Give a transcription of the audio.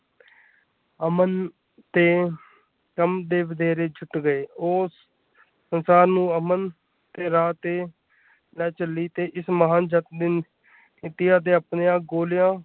ਅਮਨ ਤੇ ਕੰਮ ਦੇ ਵਧੇਰੇ ਛੁੱਟ ਗਏ ਉਹ ਸੰਸਾਰ ਨੂੰ ਅਮਨ ਤੇ ਰਾਹ ਤੇ ਚੱਲੀ ਤੇ ਜਿਸ ਮਹਾਨ ਜੱਸ ਨੀਤੀ ਨੇ ਆਪਣੇ ਆਪ ਮੋਹ ਲਿਆ।